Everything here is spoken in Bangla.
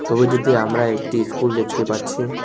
ছবিটিতে আমরা একটি ইস্কুল দেখতে পাচ্ছি।